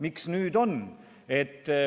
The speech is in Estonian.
Miks nüüd on?